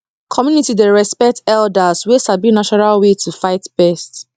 community dey respect elders wey sabi natural way to fight pest